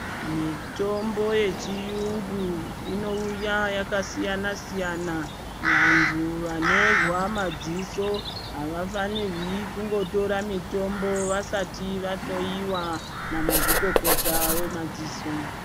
Mitombo yechiyungu inouya yakasiyana -siyana. Vantu vanozwa madziso havafanirwi kungotora mitombo vasati vahlowiwa namazvikokota wemadziso.